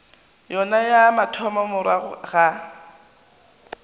yona ya mathomo morago ga